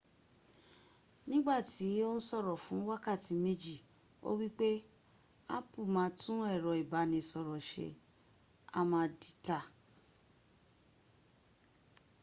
nígbàtí ó n sọ̀rọ̀ fún wákàtí méjì o wípe apu máa tún ẹ̀rọ ìbánisọ̀rọ̀ ṣe a ma dìtà